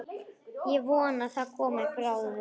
Ég vona það komi bráðum.